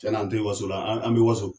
Cɛn na n tɛ waso la an an bɛ waso